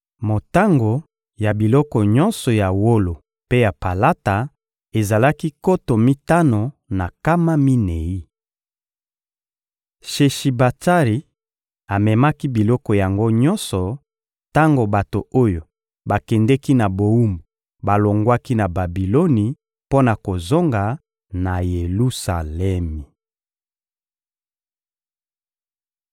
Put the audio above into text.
Motango ya biloko nyonso ya wolo mpe ya palata ezalaki nkoto mitano na nkama minei. Sheshibatsari amemaki biloko yango nyonso tango bato oyo bakendeki na bowumbu balongwaki na Babiloni mpo na kozonga na Yelusalemi.